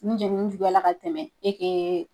Ni jenini juguyala ka tɛmɛ